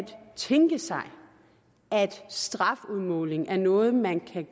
tænke sig at strafudmålingen er noget man kan